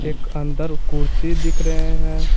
एक अंदर कुर्सी दिख रहे हैं।